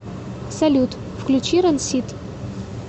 салют включи рансид